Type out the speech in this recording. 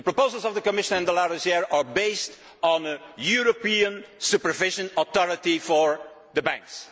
The proposals of the Commission and de Larosière are based on a European supervisory authority for the banks.